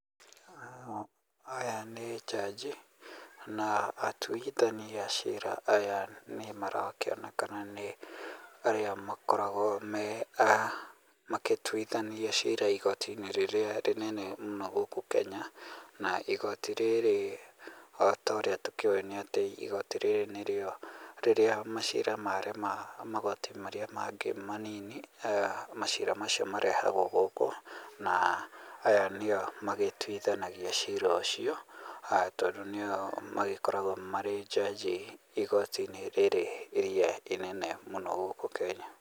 Aya nĩ jaji, na atuithania a cira aya nĩ marakionekana nĩ arĩa makoragwo magĩtuithania cira ĩgoti-inĩ rĩrĩa ĩnene mũno gũkũ Kenya. Na igoti rĩrĩ o torĩa tũkĩũi nĩ atĩ igoti rĩrĩ nĩrĩo rĩrĩa macira marema magoti marĩa mangĩ manini macira macio marehagwo gũkũ, na aya nĩo magĩtuithanagia cira ucio tondũ nĩo magĩkoragwo marĩ jaji igotinĩ rĩrĩ rĩrĩa ĩnene mũno gũkũ Kenya.